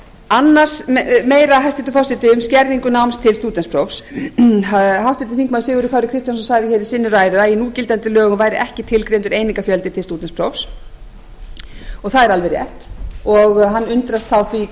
annars meira hæstvirtur forseti um skerðingu náms til stúdentsprófs háttvirtur þingmaður sigurður kári kristjánsson sagði hér í sinni ræðu að í núgildandi lögum væru ekki tilgreindur einingafjöldi til stúdentsprófs og það er alveg rétt og hann undrast því þá